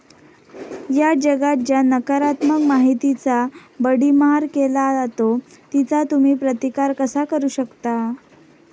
या जगात ज्या नकारात्मक माहितीचा भडिमार केला जातो तिचा तुम्ही प्रतिकार कसा करू शकता?